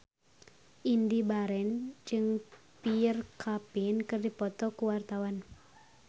Indy Barens jeung Pierre Coffin keur dipoto ku wartawan